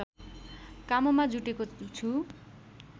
काममा जुटेको छु